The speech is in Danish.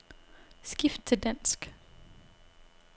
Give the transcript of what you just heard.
Skift til dansk.